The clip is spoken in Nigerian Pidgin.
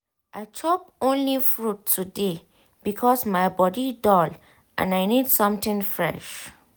i chop only fruit today because my body dull and i need something fresh.